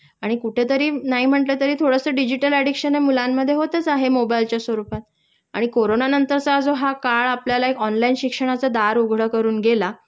आणि कुठेतरी नाही म्हणलंतरी थोडस डिजिटल अडिक्शन हे मुलांमध्ये होतच आहे मोबाईलच्या स्वरूपात आणि कोरोना नंतरचा जो हा काळ आपल्याला एक ऑनलाईन शिक्षणाचं दार उघडं करून गेला